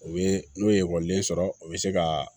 O bɛ n'o ye ekɔliden sɔrɔ o bɛ se ka